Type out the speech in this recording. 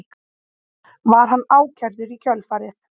Var hann ákærður í kjölfarið